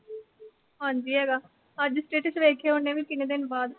ਹਾਂਜੀ ਹੈਗਾ। ਅੱਜ status ਵੇਖਿਆ ਉਹਨੇ ਵੀ ਕਿੰਨੇ ਦਿਨ ਬਾਅਦ।